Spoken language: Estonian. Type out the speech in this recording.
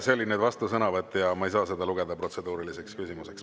See oli nüüd vastusõnavõtt ja ma ei saa seda lugeda protseduuriliseks küsimuseks.